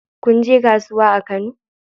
Kun je kasuwa a Kano?